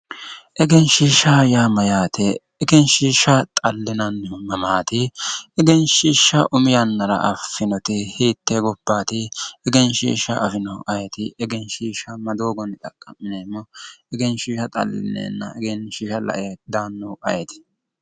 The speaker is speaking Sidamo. Egenshiishsha yaa mayyaate? Egenshiishsha xallinannihu mamaati? Egenshiishsha umi yannara affinoti hiittee gobbaati? Egenshiishsha afinohu ayeeti? Egenshiishsha ma doogonni xaqqa'mineemo? Egenshiishsha xallineenna la"e daannohu ayeeti?